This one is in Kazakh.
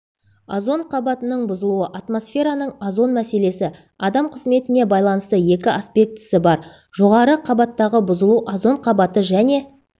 озон қабатының бұзылуы атмосфераның озон мәселесі адам қызметіне байланысты екі аспектісі бар жоғары қабаттағы бұзылу озон қабаты және